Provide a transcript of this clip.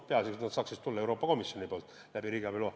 Peaasjalikult saaksid need tulla Euroopa Komisjonilt läbi riigiabi loa.